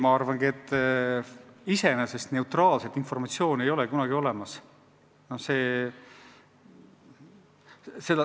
Ma arvangi, et iseenesest neutraalset informatsiooni ei ole kunagi olemas.